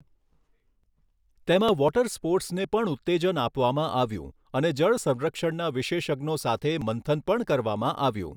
તેમાં વોટર સ્પોર્ટસને પણ ઉત્તેજન આપવામાં આવ્યું, અને જળસંરક્ષણના વિશેષજ્ઞો સાથે મંથન પણ કરવામાં આવ્યું.